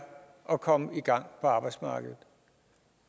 at komme i gang på arbejdsmarkedet